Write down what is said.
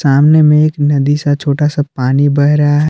सामने में एक नदी सा छोटा सा पानी बह रहा--